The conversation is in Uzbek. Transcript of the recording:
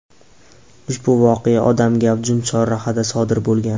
Ushbu voqea odam gavjum chorrahada sodir bo‘lgan.